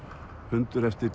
blúsrokkhundur eftir